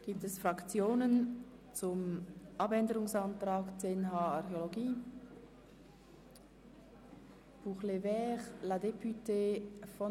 Gibt es Fraktionen, die sich zum Abänderungsantrag betreffend den Themenblock 10.h Archäologie äussern wollen?